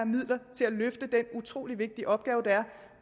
midler til at løfte den utrolig vigtige opgave det er